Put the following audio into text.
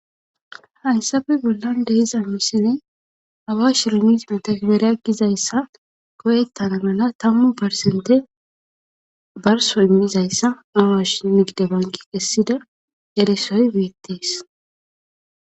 Hayssape bollan de7iza misilen awash rimit metegbere gizayssa go7ettana mala tammu persente barsso immizaysa awash nigid banke kessida erisoy beettes.